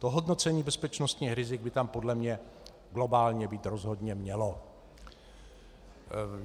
To hodnocení bezpečnostních rizik by tam podle mě globálně být rozhodně mělo.